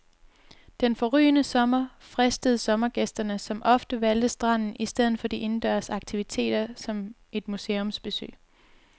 Den forrygende sommer fristede sommergæsterne, som ofte valgte stranden i stedet for de indendørs aktiviteter som et museumsbesøg.